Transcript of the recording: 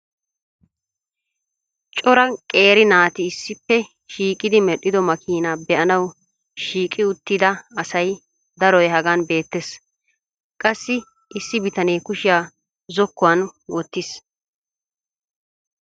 Cora qeeri naati issippe shiiqidi medhido makina be'anawu shiigi uttida asay daroy hagan beettees. gassi issi bitane Kushiya Zoku wan wottiis.